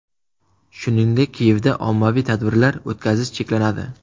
Shuningdek, Kiyevda ommaviy tadbirlar o‘tkazish cheklanadi.